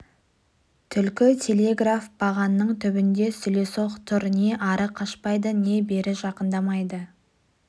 түлкі телеграф бағанының түбінде сүлесоқ тұр не ары қашпайды не бері жақындамайды